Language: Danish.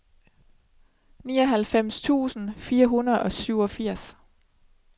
nioghalvfems tusind fire hundrede og syvogfirs